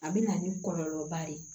A bɛ na ni kɔlɔlɔba de ye